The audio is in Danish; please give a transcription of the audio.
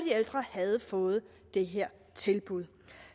ældre havde fået det her tilbud